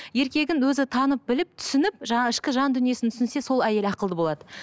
еркегін өзі танып біліп түсініп жаңа ішкі жандүниесін түсінсе сол әйел ақылды болады